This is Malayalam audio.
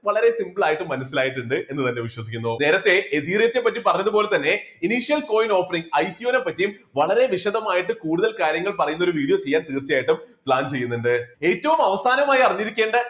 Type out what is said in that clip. വളരെ simple ആയിട്ട് മനസ്സിലായിട്ടുണ്ട് എന്ന് തന്നെ വിശ്വസിക്കുന്നു. നേരത്തെ ethereum ത്തെപ്പറ്റി പറഞ്ഞതുപോലെ തന്നെ coin offer ൽ ICO നെപ്പറ്റിയും വളരെ വിശദമായിട്ട് കൂടുതൽ കാര്യങ്ങൾ പറയുന്ന ഒരു video ചെയ്യാൻ തീർച്ചയായിട്ടും plan ചെയ്യുന്നുണ്ട്. ഏറ്റവും അവസാനമായിഅറിഞ്ഞിരിക്കേണ്ട